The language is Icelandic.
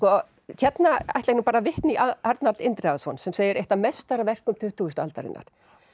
hérna ætla ég bara að vitna í Arnald Indriðason sem segir eitt af meistaraverkum tuttugustu aldarinnar